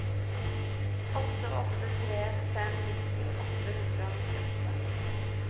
åtte åtte tre fem nitti åtte hundre og nittiåtte